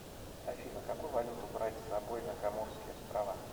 афина какую валюту брать с собой на коморские острова